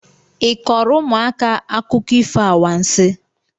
ị kọọrọ ụmụaka akụkọ ifo anwansị?